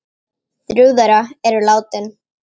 Þrjú þeirra eru látin